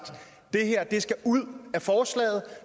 det her skal ud af forslaget